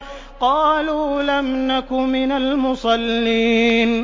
قَالُوا لَمْ نَكُ مِنَ الْمُصَلِّينَ